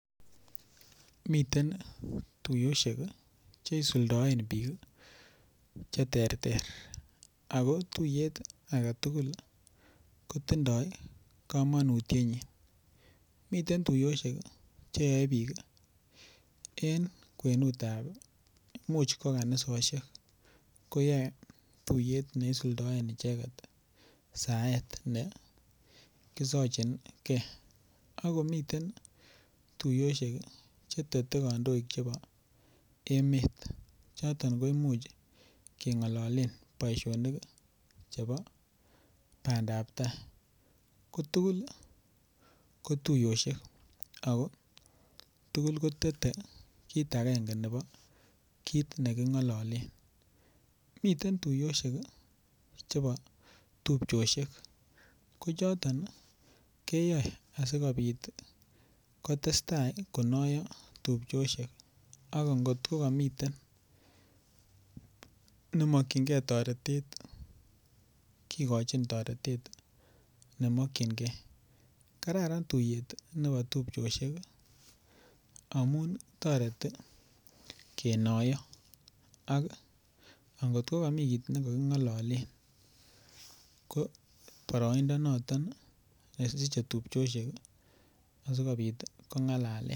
Miten tuyosiek cheisuldaen biik cheterter, ako tuyet agetugul kotindoi komonutienyin, miten tuyosiek cheyoe biik en kwenutab, imuch kokanisosiek koyoe tuyet neisuldoen icheget saet nekisochingee, akomiten tuyosiek chetete kandoik chebo emeet noton koimuch keng'ololen boisionik chebo bandab tai, ko tugul ko tuyosiek ako tugul ko tete kiit agenge nebo kiit neking'ololen, miten tuyosiek chebo tupchosiek, ko choton keyoe asikobit kotestai konoyo tupchosyek, ak ngotkogamiten nemokyingen toretet kigochin toretet nemokyingen, kararan tuyet nebo tupchosyek amun toreti kenoiyo ako angotkogomi kiit nekaging'ololen ko boroindo noton nesiche tupchosyek asikobit kong'alalen.